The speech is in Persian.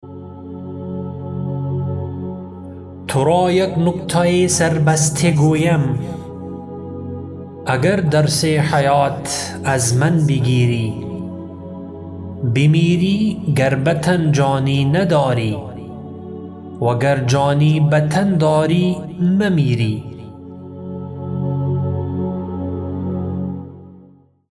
ترا یک نکته سر بسته گویم اگر درس حیات از من بگیری بمیری گر به تن جانی نداری وگر جانی به تن داری نمیری